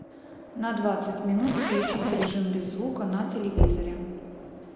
на двадцать минут включить режим без звука на телевизоре